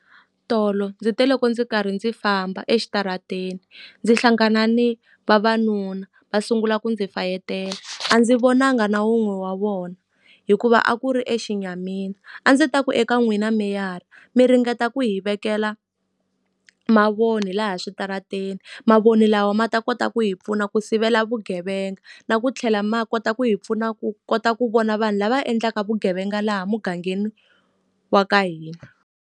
Tolo ndzi te le loko ndzi karhi ndzi famba exitarateni, ndzi hlangana ni vavanuna va sungula ku ndzi fayetela. A ndzi vonanga na wun'we wa vona, hikuva a ku ri exinyamini. A ndzi ta ku eka n'wina meyara mi ringeta ku hi vekela mavoni laha switarateni, mavoni lawa ma ta kota ku hi pfuna ku sivela vugevenga. Na ku tlhela ma kota ku hi pfuna ku kota ku vona vanhu lava endlaka vugevenga laha mugangeni wa ka hina.